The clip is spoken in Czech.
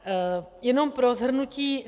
Jenom pro shrnutí.